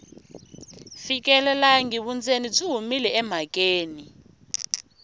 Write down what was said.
fikelelangi vundzeni byi humile emhakeni